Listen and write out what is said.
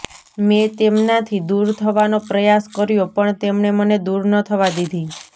મે તેમનાંથી દૂર થવાનો પ્રયાસ કર્યો પણ તેમણે મને દૂર ન થવા દિધી